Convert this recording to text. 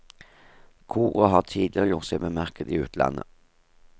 Koret har tidligere gjort seg bemerket i utlandet.